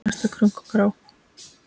Árið næsta, krunk og krá!